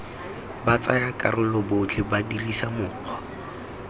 batsayakarolo botlhe ba dirisa mokgwa